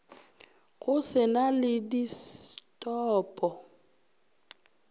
go se na le distopo